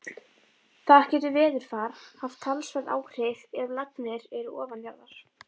Þar getur veðurfar haft talsverð áhrif ef lagnir eru ofanjarðar.